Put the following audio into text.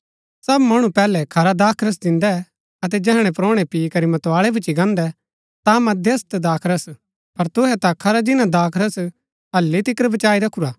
सब मणु पैहलै खरा दाखरस दिन्दै अतै जैहणै परोणै पी करी मतवाळै भूच्ची गान्दै ता मध्यम दाखरस पर तूहै ता खरा जिन्‍ना दाखरस हलि तिकर बचाई रखुरा